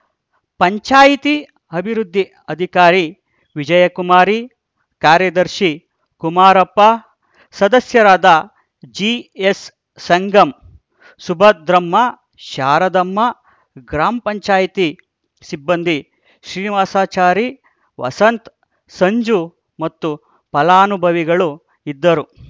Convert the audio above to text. ಪಂಚಾಯಿತಿ ಅಭಿವೃದ್ಧಿ ಅಧಿಕಾರಿ ವಿಜಯಕುಮಾರಿ ಕಾರ್ಯದರ್ಶಿ ಕುಮಾರಪ್ಪ ಸದಸ್ಯರಾದ ಜಿಎಸ್‌ಸಂಗಮ್‌ ಸುಭದ್ರಮ್ಮ ಶಾರದಮ್ಮ ಗ್ರಾಮ ಪಂಚಾಯಿತಿ ಸಿಬ್ಬಂದಿ ಶ್ರೀನಿವಾಸಚಾರಿ ವಸಂತ್‌ ಸಂಜು ಮತ್ತು ಫಲಾನುಭವಿಗಳು ಇದ್ದರು